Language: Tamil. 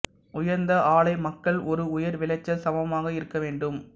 உயர்ந்த ஆலை மக்கள் ஒரு உயர் விளைச்சல் சமமாக இருக்க வேண்டும்